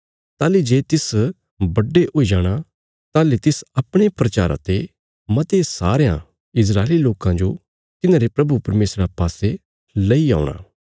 ताहली जे तिस बड्डे हुई जाणा ताहली तिस अपणे प्रचारा ते मते सारयां इस्राएली लोकां जो तिन्हारे प्रभु परमेशरा पासे लैई औणा